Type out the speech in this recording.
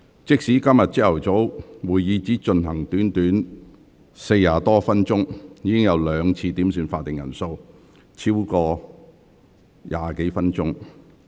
即使今早會議只進行了短短40多分鐘，議員已兩次要求點算法定人數，消耗超過20分鐘。